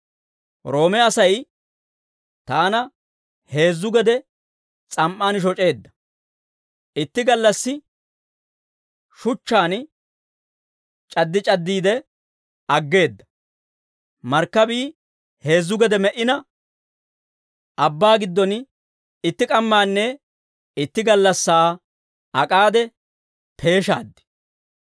Roome Asay taana heezzu gede s'am"aan shoc'eedda; itti gallassi shuchchaan c'addi c'addiide aggeedda; markkabii heezzu gede me"ina, abbaa giddon itti k'ammaanne itti gallassaa ak'aade peeshaad.